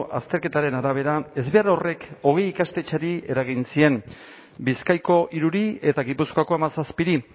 azterketaren arabera ezbehar horrek hogei ikastetxeri eragin zien bizkaiko hiruri eta gipuzkoako hamazazpiri